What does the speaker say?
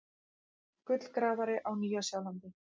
Gullgrafari á Nýja-Sjálandi.